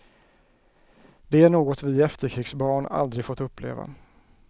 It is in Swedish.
Det är något vi efterkrigsbarn aldrig fått uppleva.